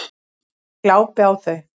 Ég glápi á þau.